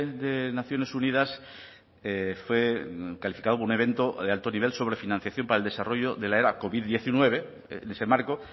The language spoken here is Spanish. de naciones unidas fue calificado un evento de alto nivel sobre financiación para el desarrollo de la era covid diecinueve en ese marco